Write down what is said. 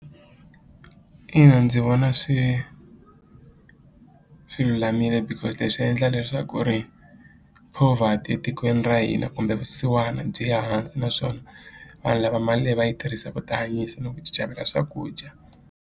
Ina ndzi vona swi swi lulamile because leswi endla leswaku ri poverty etikweni ra hina kumbe vusiwana byi ya hansi naswona vanhu lava mali leyi va yi tirhisa ku tihanyisa ni ku ti xavela swakudya.